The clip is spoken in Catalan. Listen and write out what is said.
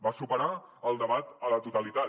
va superar el debat a la totalitat